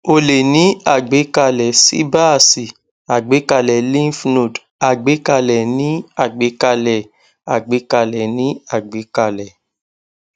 o lè ní àgbékalè síbáàsì àgbékalè lymph node àgbékalè ní àgbékalè àgbékalè ní àgbékalè